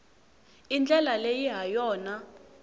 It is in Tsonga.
i ndlela leyi ha yona